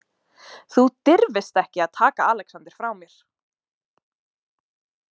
Þú dirfist ekki að taka Alexander frá mér